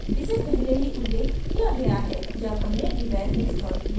इसे पहले ही उल्लेख किया गया है जब हमने devel installed किया